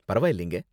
பரவாயில்லைங்க.